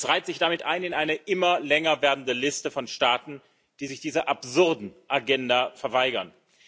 Es reiht sich damit ein in eine immer länger werdende Liste von Staaten, die sich dieser absurden Agenda verweigern.